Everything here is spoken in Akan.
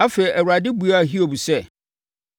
Afei Awurade buaa Hiob sɛ,